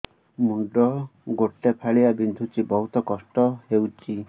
ମୁଣ୍ଡ ଗୋଟେ ଫାଳିଆ ବିନ୍ଧୁଚି ବହୁତ କଷ୍ଟ ହଉଚି